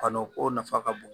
Kanu ko nafa ka bon